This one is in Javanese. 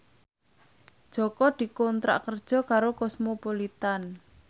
Jaka dikontrak kerja karo Cosmopolitan